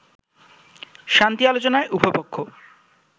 শান্তি আলোচনায় উভয় পক্ষ